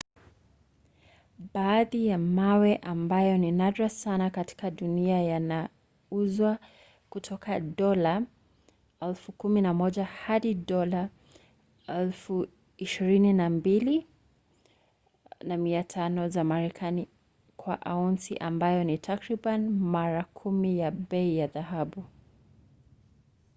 baadhi ya mawe ambayo ni nadra sana katika dunia yanauzwa kutoka dola 11,000 hadi dola 22,500 za marekani kwa aunsi ambayo ni takriban mara kumi ya bei ya dhahabu